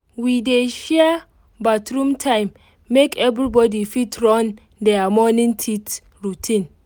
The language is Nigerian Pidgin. we dey share bathroom time make everybody fit run their morning teeth routine